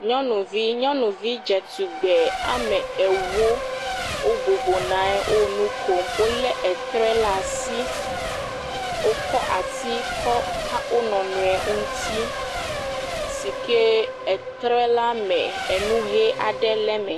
Nyɔnuvi, nyɔnuvi dzetugbe ame ewo wobɔbɔ nɔ anyi wo nu kom, wolé etre le asi, wokɔ asi kɔ ka wo nɔ nɔe o ŋuti si ke etre la me enu ʋe aɖe le me.